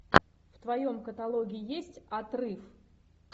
в твоем каталоге есть отрыв